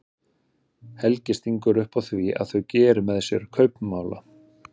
Helgi stingur upp á því að þau geri með sér kaupmála.